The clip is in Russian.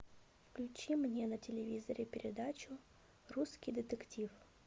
включи мне на телевизоре передачу русский детектив